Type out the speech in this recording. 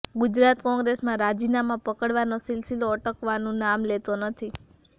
ગુજરાત કોંગ્રેસમાં રાજીનામા પડવાનો સિલસિલો અટકવાનું નામ લેતો નથી